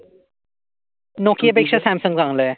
Nokia पेक्षा Samsung चांगल आहे.